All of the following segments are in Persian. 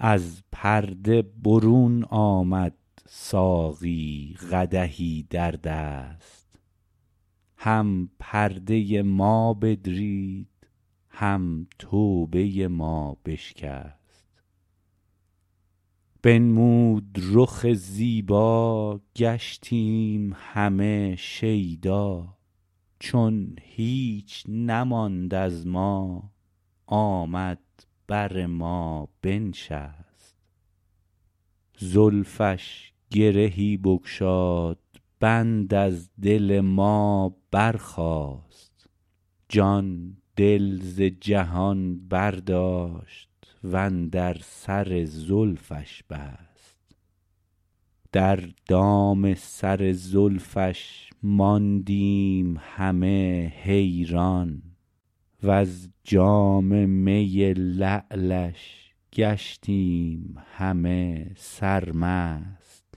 از پرده برون آمد ساقی قدحی در دست هم پرده ما بدرید هم توبه ما بشکست بنمود رخ زیبا گشتیم همه شیدا چون هیچ نماند از ما آمد بر ما بنشست زلفش گرهی بگشاد بند از دل ما برخاست جان دل ز جهان برداشت وندر سر زلفش بست در دام سر زلفش ماندیم همه حیران وز جام می لعلش گشتیم همه سرمست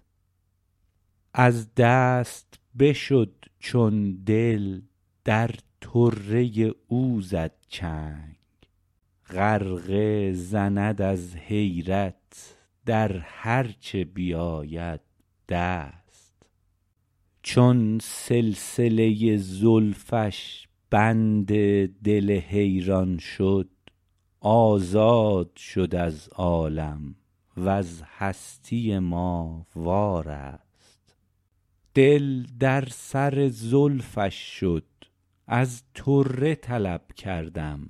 از دست بشد چون دل در طره او زد چنگ غرقه زند از حیرت در هرچه بیابد دست چون سلسله زلفش بند دل حیران شد آزاد شد از عالم وز هستی ما وارست دل در سر زلفش شد از طره طلب کردم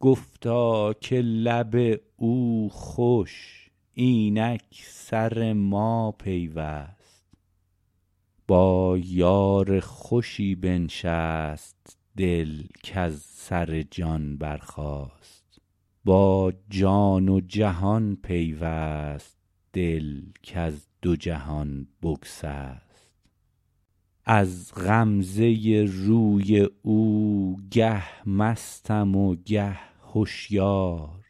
گفتا که لب او خوش اینک سر ما پیوست با یار خوشی بنشست دل کز سر جان برخاست با جان و جهان پیوست دل کز دو جهان بگسست از غمزه روی او گه مستم و گه هشیار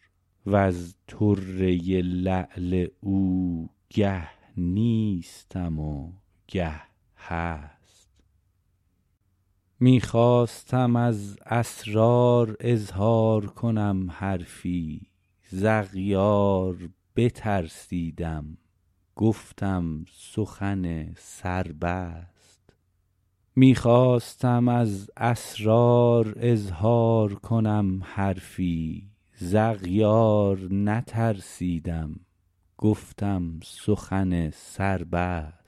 وز طره لعل او گه نیستم و گه هست می خواستم از اسرار اظهار کنم حرفی ز اغیار بترسیدم گفتم سخن سر بست